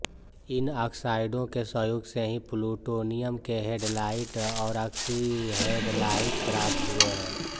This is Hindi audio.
इन ऑक्साइडों के सहयोग से ही प्लूटोनियम के हैलाइड और आक्सीहैलाइड प्राप्त हुए हैं